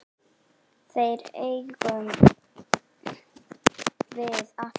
Þær eigum við alltaf.